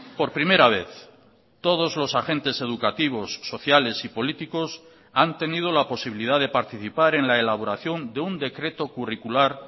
por primera vez todos los agentes educativos sociales y políticos han tenido la posibilidad de participar en la elaboración de un decreto curricular